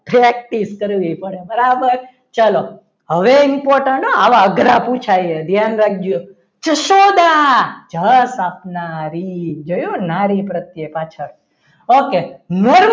practice કરવી પડે બરાબર ચલો હવે important આવા અઘરા પુછાય હે ધ્યાન રાખજો જશોદા જસ આપનારી જોયું નારી પ્રત્યે પાછળ okay